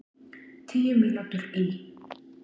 Tíu mínútur í